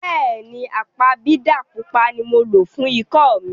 Bẹ́ẹ̀ni, apabidà pupa ni mo lo fún ikọ́ mi.